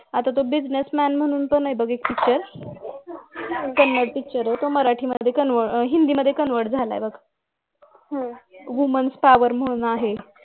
आता तर buissnessman म्हणून पण आहे बघ एक picture तमिळ picture आहे ते मराठी मध्ये आह हिंदी मध्ये convert झालाय बघ women's power म्हणून आहे